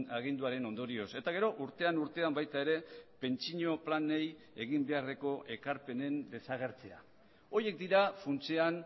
aginduaren ondorioz eta gero urtean urtean baita ere pentsio planei egin beharreko ekarpenen desagertzea horiek dira funtsean